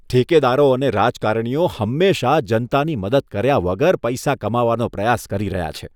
ઠેકેદારો અને રાજકારણીઓ હંમેશા જનતાની મદદ કર્યા વગર પૈસા કમાવાનો પ્રયાસ કરી રહ્યા છે